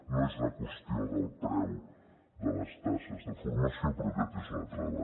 no és una qüestió del preu de les taxes de formació però aquest és un altre debat